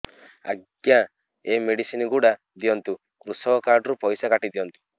ଆଜ୍ଞା ଏ ମେଡିସିନ ଗୁଡା ଦିଅନ୍ତୁ କୃଷକ କାର୍ଡ ରୁ ପଇସା କାଟିଦିଅନ୍ତୁ